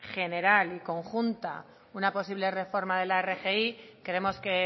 general y conjunta una posible reforma de la rgi creemos que